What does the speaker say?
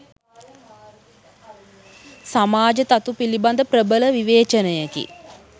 සමාජ තතු පිළිබඳ ප්‍රබල විවේචනයකි.